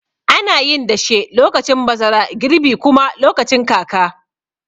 Anayin dashe lokacin bazara, girbi kuma lokacin kaka.